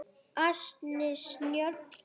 Ansi snjöll!